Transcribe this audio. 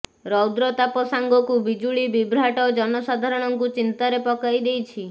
ରୌଦ୍ରତାପ ସାଙ୍ଗକୁ ବିଜୁଳି ବିଭ୍ରାଟ ଜନସାଧାରଣଙ୍କୁ ଚିନ୍ତାରେ ପକାଇ ଦେଇଛି